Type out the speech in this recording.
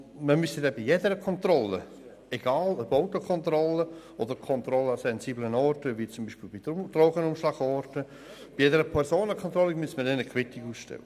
Man müsste dann bei jeder Kontrolle, egal ob Fahrzeugkontrolle oder Personenkontrolle an sensiblen Orten, wie etwa Drogenumschlagplätzen, eine Quittung ausstellen.